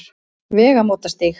Vegamótastíg